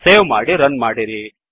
save ಮಾಡಿ run ಮಾಡಿರಿ